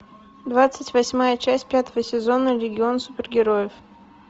двадцать восьмая часть пятого сезона легион супергероев